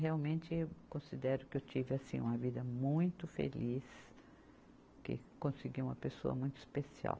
Realmente, eu considero que eu tive assim uma vida muito feliz, que consegui uma pessoa muito especial.